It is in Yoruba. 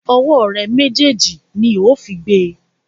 Ọwọ́ rẹ méjèèjì ni ó fi gbe!